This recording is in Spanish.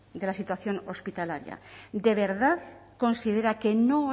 de la situación hospitalaria de verdad considera que no